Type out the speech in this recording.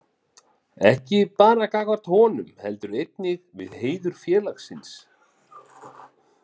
Ekki bara gagnvart honum, heldur einnig við heiður félagsins.